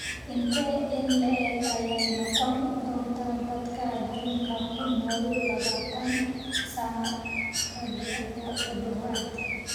Intee in le'eg ayay noqon doontaa dadka adduunka ku nool labaatan sano gudahood?